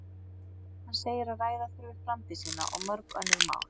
Hann segir að ræða þurfi framtíð sína og mörg önnur mál.